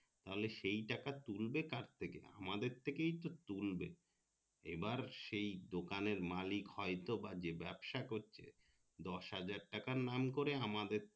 তাহলে সেই টাকা তুলবে কার থেকে আমাদের থেকে তো তুলবে এবার সেই দোকানের মালিক হয়তো বা যে ব্যবসা করছে দশ হাজার টাকার নাম করে আমাদের